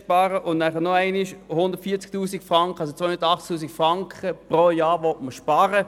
Man will insgesamt 280 000 Franken pro Jahr sparen.